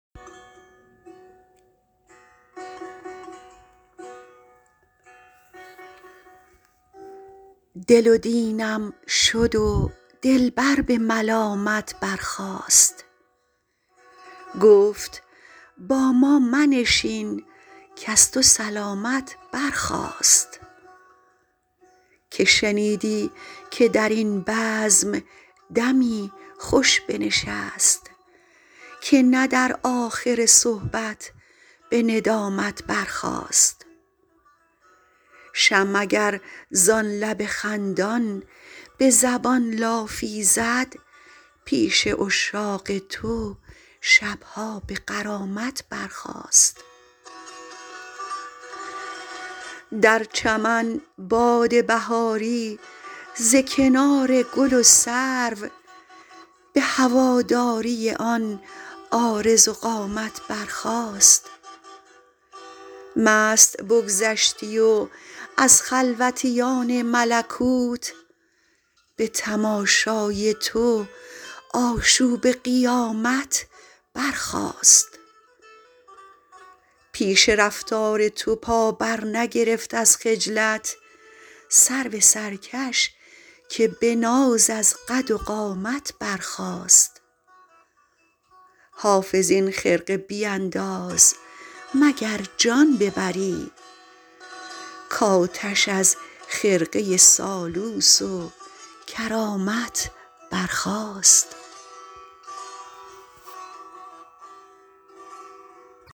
دل و دینم شد و دلبر به ملامت برخاست گفت با ما منشین کز تو سلامت برخاست که شنیدی که در این بزم دمی خوش بنشست که نه در آخر صحبت به ندامت برخاست شمع اگر زان لب خندان به زبان لافی زد پیش عشاق تو شب ها به غرامت برخاست در چمن باد بهاری ز کنار گل و سرو به هواداری آن عارض و قامت برخاست مست بگذشتی و از خلوتیان ملکوت به تماشای تو آشوب قیامت برخاست پیش رفتار تو پا برنگرفت از خجلت سرو سرکش که به ناز از قد و قامت برخاست حافظ این خرقه بینداز مگر جان ببری کآتش از خرقه سالوس و کرامت برخاست